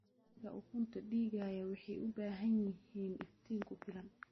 Digaagga ukunta dhigaya waxay u baahan yihiin iftiin ku filan.